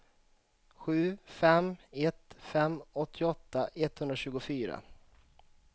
sju fem ett fem åttioåtta etthundratjugofyra